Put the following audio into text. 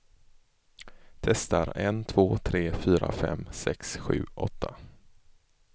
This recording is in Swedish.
Testar en två tre fyra fem sex sju åtta.